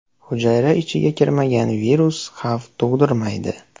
Hujayra ichiga kirmagan virus xavf tug‘dirmaydi.